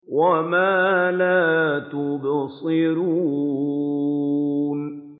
وَمَا لَا تُبْصِرُونَ